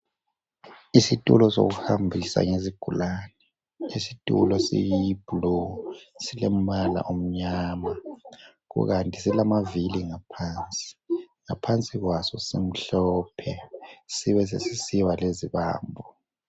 Isitulo sokuhambisa izigulane isitulo siyi bhulu silombala omnyama kukanti silamavili ngaphansi, ngaphansi kwaso simhlophe sibe sesisiba lezibambo.